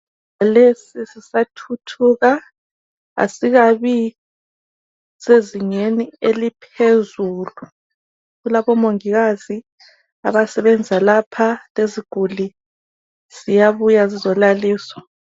Lesi sisa thuthuka, asikabi sezingeni eliphezulu kulabomongikazi abasebenza lapha leziguli ziyabuya zizolaliswa.